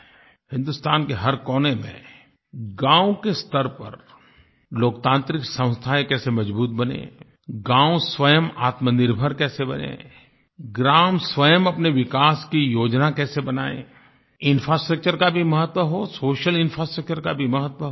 हिन्दुस्तान के हर कोने में गाँव के स्तर पर लोकतांत्रिक संस्थाएँ कैसे मजबूत बनें गाँव स्वयं आत्मनिर्भर कैसे बनें ग्राम स्वयं अपने विकास की योजना कैसे बनाएँ इंफ्रास्ट्रक्चर का भी महत्व हो सोशल इंफ्रास्ट्रक्चर का भी महत्व हो